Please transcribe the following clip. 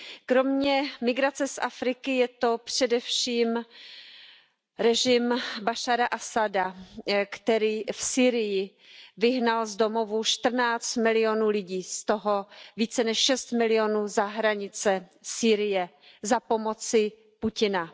Kromě migrace z Afriky je to především režim Bašára Asada, který v Sýrii vyhnal z domovů 14 milionů lidí, z toho více než 6 milionů za hranice Sýrie, za pomoci Putina.